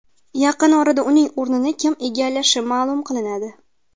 Yaqin orada uning o‘rini kim egallashi ma’lum qilinadi.